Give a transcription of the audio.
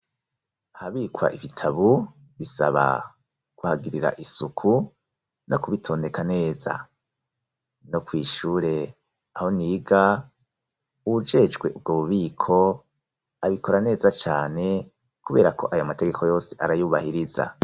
Ahabikwa ibitabu bisaba kuhagirira isuku no kubitondeka neza. No kw'ishure aho niga uwujejwe ubwo bubiko, abikora neza cane kubera ko ayo mategeko yose arayubahiriza.